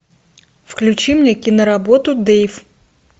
включи мне киноработу дейв